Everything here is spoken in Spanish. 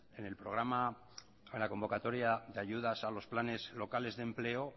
en la convocatoria de ayudas a los planes locales de empleo